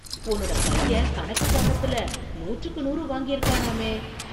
உன்னோட பையன் கணக்கு பாடத்துல நூற்றுக்கு நூறு வாங்கிருக்கானாமே